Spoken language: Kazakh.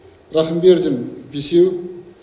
рахымбердин бесеу